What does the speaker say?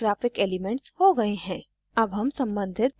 अब सारे graphic elements हो गए हैं